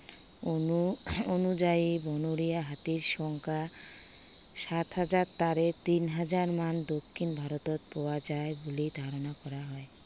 অনু অনুযায়ী বনৰীয়া হাতীৰ সংখ্য়া, সাত হাজাৰ। তাৰে তিন হাজাৰ মান দক্ষিন ভাৰতত পোৱা যায় বুলি ধাৰণা কৰা হয়।